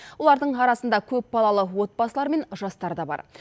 олардың арасында көпбалалы отбасылар мен жастар да бар